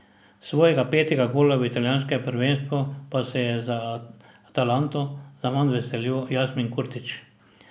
Svojega petega gola v italijanskem prvenstvu pa se je za Atalanto zaman veselil Jasmin Kurtić.